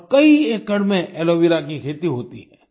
और कई एकड़ में एलो वेरा की खेती होती है